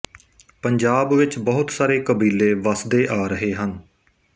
ਪੰਜਾਬ ਵਿੱਚ ਬਹੁਤ ਸਾਰੇ ਕਬੀਲੇ ਵੱਸਦੇ ਆ ਰਹੇ ਹਨ